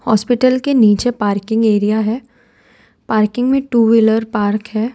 Hospital के नीचे parking area है। पार्किंग में टू व्हीलर पार्क है।